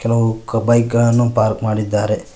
ಹಲವು ಬೈಕ್ ಗಳನ್ನು ಪಾರ್ಕ್ ಮಾಡಿದ್ದಾರೆ.